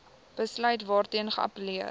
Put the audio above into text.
besluit waarteen geappelleer